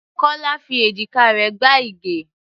Kọ́lá fi èjìká rẹ̀ gbá Ige.